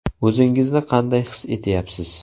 O‘zingizni qanday his etyapsiz?